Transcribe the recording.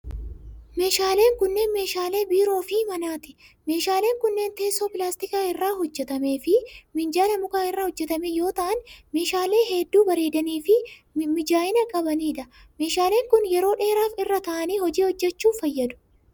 Meeshaaleen kunneen meeshaalee biiroo fi manaati. Meeshaaleen kunneen teessoo 'pilaastika irraa' hojjatamee fi minjaala muka irraa hojjatame yoo ta'an, meehaalee hedduu bareedanii fi mijaa'ina qabanii dha. Meeshaaleen kun yeroo dheeraaf irra ta'anii hojii hojjachuuf fayyadu.